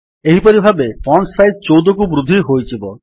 ଏହିପରି ଭାବେ font size ୧୪କୁ ବୃଦ୍ଧି ହୋଇଯିବ